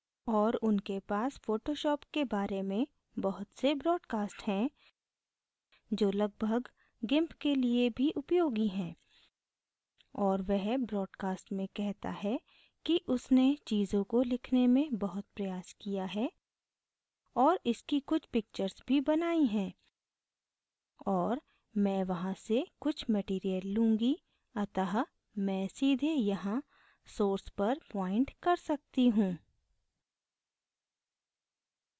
और उनके पास photoshop के बारे में बहुत से broadcast हैं जो लगभग gimp के लिए भी उपयोगी हैं और वह broadcast में कहता है कि उसने चीज़ों को लिखने में बहुत प्रयास किया है और इसकी कुछ picture भी बनायीं हैं और मैं वहां से कुछ material लूँगी अतः मैं सीधे यहाँ source पर point कर सकती he